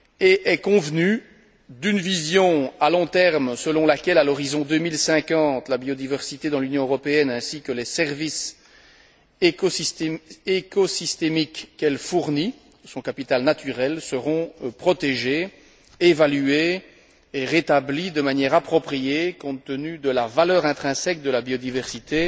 Il a exposé une vision à long terme selon laquelle, à l'horizon 2050, la biodiversité dans l'Union européenne ainsi que les services écosystémiques qu'elle fournit, son capital naturel, seront protégés, évalués et rétablis de manière appropriée, compte tenu de la valeur intrinsèque de la biodiversité